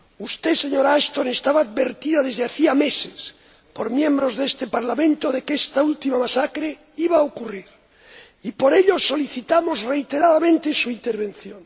Usted, señora Ashton, estaba advertida desde hacía meses, por miembros de este Parlamento, de que esta última masacre iba a ocurrir y, por ello, solicitamos reiteradamente su intervención.